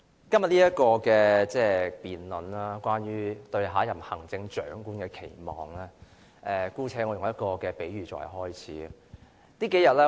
代理主席，今天這項有關"對下任行政長官的期望"的辯論，我姑且以一個比喻作為開始。